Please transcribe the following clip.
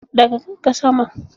Ɗaga kanka sama!